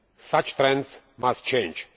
Such trends must change.